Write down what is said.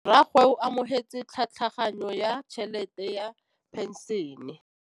Rragwe o amogetse tlhatlhaganyô ya tšhelête ya phenšene.